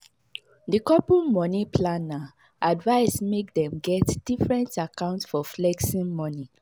the couple money planner advise make dem get different account for flexing money.